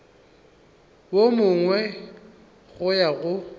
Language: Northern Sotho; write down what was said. wo mongwe go ya go